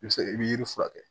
I bɛ se i bɛ yiri furakɛ